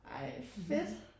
Ëj fedt